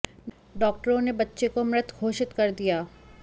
डॉक्टरों ने बच्चे को मृत घोषित कर दिया